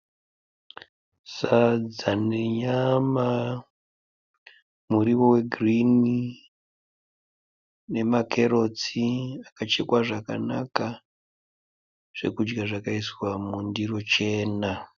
Sadza nenyama. Muriwo wegirinhi nemakerotsi akachekwa zvakanaka. Zvekudya zvakaiswa mundiro chena.